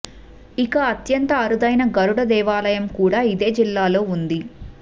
ఇక అత్యంత అరుదైన గరుడ దేవాలయం కూడా ఇదే జిల్లాలో ఉంది